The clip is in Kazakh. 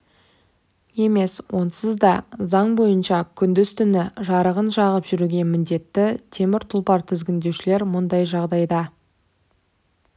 емес онсыз да заң бойынша күндіз-түні жарығын жағып жүруге міндетті темір тұлпар тізгіндеушілер мұндай жағдайда